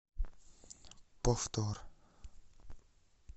повтор